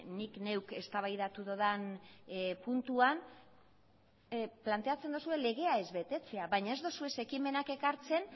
nik neuk eztabaidatu dudan puntuan planteatzen duzue legea ez betetzea baina ez dituzue ekimenak ekartzen